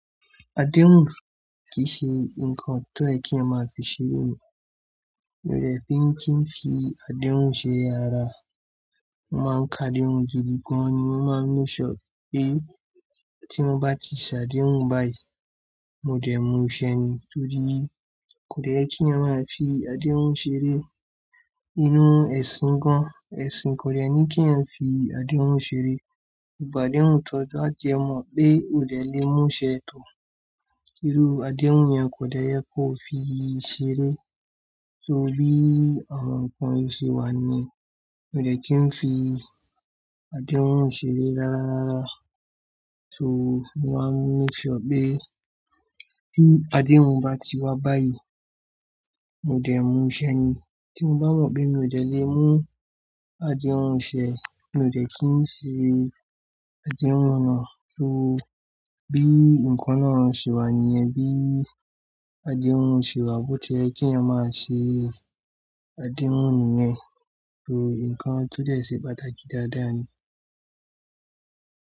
Adéhùn kì í ṣe nǹkan tó yè ki eyan máa fi ṣeré. Mi ò dẹ̀ fi kí n fi adéhùn ṣe rararara. Mo máa ń ka adéhùn gidi gan-an ni. Mo máa make sure pé tí mo bá ti ṣe adéhùn báyìí, mo dẹ̀ múṣẹ ni. Torí kò dẹ́ ye kí ẹeyan máa fi adéhùn ṣeré. Inú ẹ̀sìn gan-an, ẹ̀sìn kò dẹ́ ní kí ẹeyan fi adéhùn ṣeré. Ìgbà adéhùn tó dáa jẹ mọ̀ pé o dè lé mú ṣe. Irú adéhùn yẹn kò dẹ́ ye kó fi ṣeré. Torí àwọn nǹkan mi siwa nu e. Mi ò dẹ̀ kí n fi adéhùn ṣeré rárá rárá. Soo mo máa make sure pé ti adéhùn bá ti wá báyìí, mo dẹ̀ n múṣẹ ni. Tí mo bá mọ̀ pé mi ò dẹ́ lé mú adéhùn ṣẹ, mi ò dẹ̀ kí n ṣe adéhùn náà. Bi i nǹkan náà ṣe wà níyen bi adéhùn ṣe wà, bó ti yẹ kí eeyan máa ṣe adéhùn nìyẹn. Torí nǹkan tó dẹ́ se pàtàkì dáadáa ni.